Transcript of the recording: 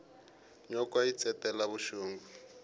nyoka yi ntsetela vuxungi